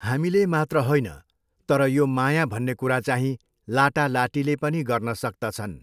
हामीले मात्र होइन तर यो माया भन्ने कुरा चाहिँ लाटा लाटीले पनि गर्न सक्तछन्